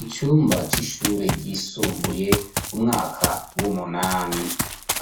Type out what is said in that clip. Icumba cy'ishure ryisumbuye, umwaka w'umunami.